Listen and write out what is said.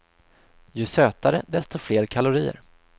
Ju sötare, desto fler kalorier.